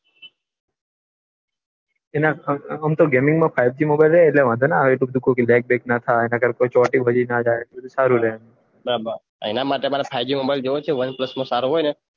તેમાં ગેમિંગ માં five G mobile હોય વાંઘોન આવે અને લેગ બેગ ણ થાય અને ચોટે ના સારું એના માટે મારે ફાઈવજી mobile જોઈએ છે